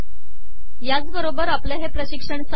याच बरोबर आपले हे पिशकण संपले